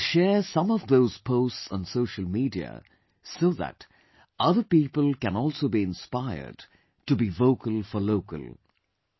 I will share some of those posts on Social Media so that other people can also be inspired to be 'Vocal for Local'